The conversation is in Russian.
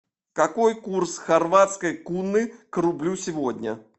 какой курс хорватской куны к рублю сегодня